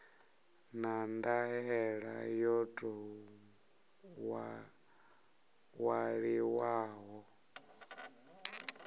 na ndaela yo tou ṅwaliwaho